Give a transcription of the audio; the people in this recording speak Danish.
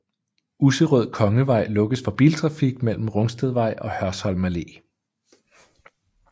Usserød Kongevej lukkes for biltrafik mellem Rungstedvej og Hørsholm Allé